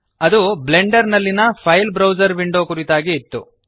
ಅದು ಬ್ಲೆಂಡರ್ ನಲ್ಲಿಯ file browser window ಕುರಿತಾಗಿ ಇತ್ತು